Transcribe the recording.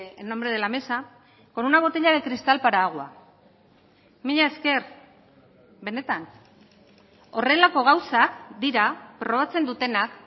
en nombre de la mesa con una botella de cristal para agua mila esker benetan horrelako gauzak dira probatzen dutenak